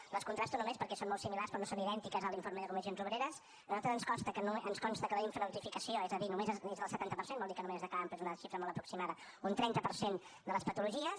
les contrasto només perquè són molt similars però no són idèntiques a l’informe de comissions obreres a nosaltres ens consta que la infranotificació és del setanta per cent vol dir que només es declaren però és una xifra molt aproximada un trenta per cent de les patologies